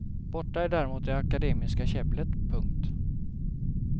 Borta är däremot det akademiska käbblet. punkt